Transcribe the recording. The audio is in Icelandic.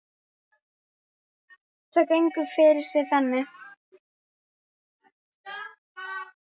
Það gengur fyrir sig þannig